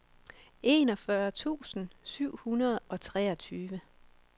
enogfyrre tusind syv hundrede og treogtyve